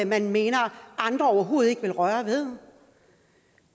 man mener andre overhovedet ikke vil røre ved